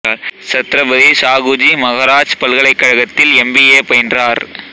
சத்ரபதி ஷாகுஜி மகராஜ் பல்கலைக்கழகத்தில் M B A பயின்றார்